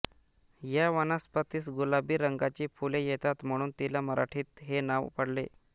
या वनस्पतीस गुलाबी रंगाची फुले येतात म्हणून तिला मराठीत हे नाव पडले